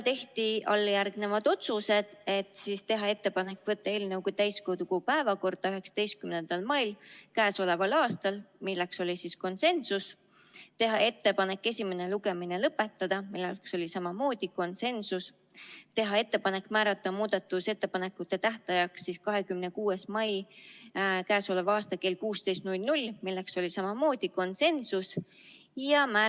Tehti alljärgnevad otsused: teha ettepanek võtta eelnõu täiskogu päevakorda 19. mail k.a , teha ettepanek esimene lugemine lõpetada , teha ettepanek määrata muudatusettepanekute tähtajaks 26. mai k.a kell 16 ja määrata ettekandjaks Siret Kotka .